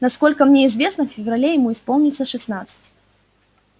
насколько мне известно в феврале ему исполнится шестнадцать